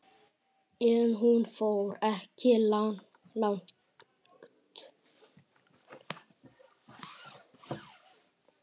En hún fór ekki langt.